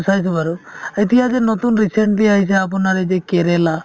চাইছো বাৰু এতিয়া যে নতুন recently আহিছে আপোনাৰ এই যে কেৰেলা